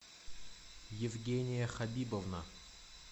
евгения хабибовна